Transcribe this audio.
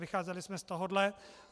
Vycházeli jsme z tohohle.